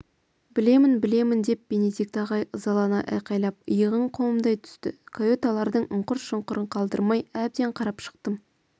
білемін білемін деп бенедикт ағай ызалана айқайлап иығын қомдай түстікаюталардың ұңқыр-шұңқырын қалдырмай әбден қарап шықтым